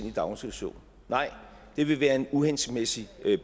i daginstitution nej det vil være en uhensigtsmæssig